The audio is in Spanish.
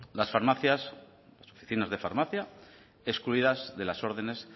las farmacias las oficinas de farmacia excluidas de las órdenes